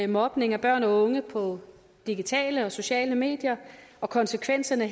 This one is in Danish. mobning af børn og unge på digitale og sociale medier og konsekvenserne